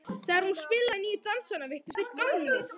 Þegar hún spilaði nýju dansana virtust þeir gamlir.